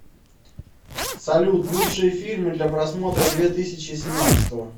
салют лучшие фильмы для просмотра две тысячи семнадцатого